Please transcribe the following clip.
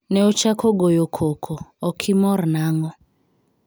Ne ochako goyo koko, ok imor nang'o?